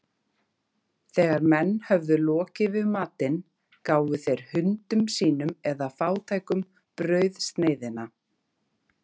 Þegar menn höfðu lokið við matinn, gáfu þeir hundum sínum eða fátækum brauðsneiðina.